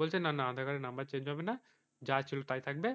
বলছে না না আধার কার্ডের number change হবে না যা ছিল তাই থাকবে